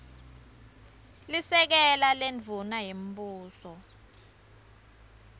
lisekela lendvuna yembuso